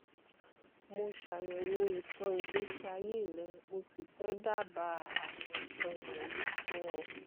mo ṣàyẹ̀wò ìtàn ìgbésí ayé rẹ mo sì fẹ́ dábàá àwọn nǹkan wọ̀nyí fún ọ